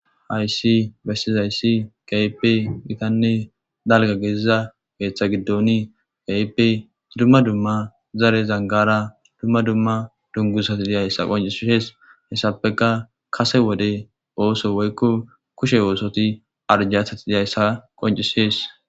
Haysi bessizayssi gayipe gitanne dalga geeziza geeththa giddoni ga7ipe dumma dumma zare zangara dumma dumma dungusati diyayssa qoncissees hessapeka kase wode ooso woykko kushe oosoti arjathati diyayssa qoncisees.